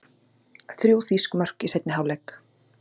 Þrjú þýsk mörk í seinni hálfleik